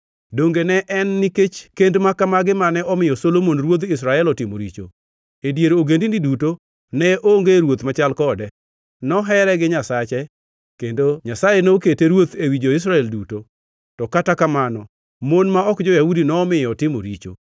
Donge ne en nikech kend ma kamagi mane omiyo Solomon ruodh Israel otimo richo? E dier ogendini duto ne onge ruoth machal kode. Nohere gi Nyasache, kendo Nyasaye nokete ruoth ewi jo-Israel duto, to kata kamano mon ma ok jo-Yahudi nomiyo otimo richo.